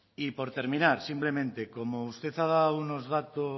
y por terminar simplemente como usted ha dado unos datos